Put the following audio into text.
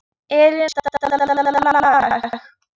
Elínora, hver syngur þetta lag?